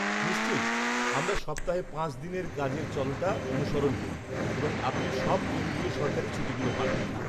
নিশ্চয়ই, আমরা সপ্তাহে পাঁচ দিনের কাজের চলটা অনুসরণ করি এবং আপনি সব কেন্দ্রীয় সরকারী ছুটিগুলো পাবেন।